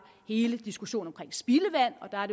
er hele diskussionen om spildevand og der er